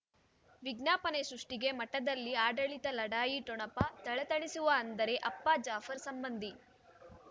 ವಿಜ್ಞಾಪನೆ ಸೃಷ್ಟಿಗೆ ಮಠದಲ್ಲಿ ಆಡಳಿತ ಲಢಾಯಿ ಠೊಣಪ ಥಳಥಳಿಸುವ ಅಂದರೆ ಅಪ್ಪ ಜಾಫರ್ ಸಂಬಂಧಿ